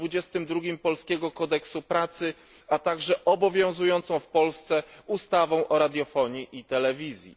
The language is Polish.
22 polskiego kodeksu pracy, a także obowiązującą w Polsce ustawą o radiofonii i telewizji.